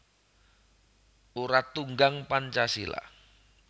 Urat Tunggang Pancasila